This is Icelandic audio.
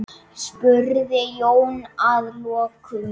spurði Jón að lokum.